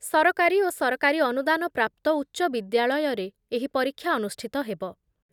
ସରକାରୀ ଓ ସରକାରୀ ଅନୁଦାନ ପ୍ରାପ୍ତ ଉଚ୍ଚବିଦ୍ୟାଳୟରେ ଏହି ପରୀକ୍ଷା ଅନୁଷ୍ଠିତ ହେବ ।